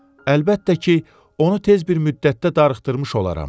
əlbəttə ki, onu tez bir müddətdə darıxdırmış olaram.